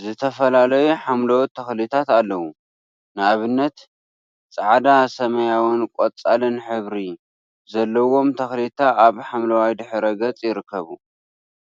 ዝተፈላለዩ ሓምለዎት ተክሊታት አለው፡፡ ንአብነት ፃዕዳ ሰማያዊን ቆፃልን ሕብሪ ዘለዎም ተክሊታ አብ ሓምለዋይ ድሕረ ገፅ ይርከቡ፡፡